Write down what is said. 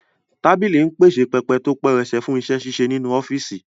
Tábìlì ń pèsè pẹpẹ tó pẹrẹsẹ fún iṣẹ́-ṣíṣe nínú ọ́fíìsì